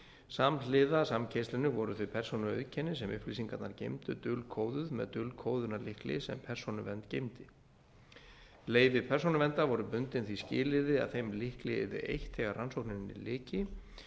samhliða samkeyrslunni voru þau persónuauðkenni sem upplýsingarnar geymdu dulkóðuð með dulkóðunarlykli sem persónuvernd geymdi leyfi persónuverndar voru bundin því skilyrði að þeim lykli yrði eytt þegar rannsókninni lyki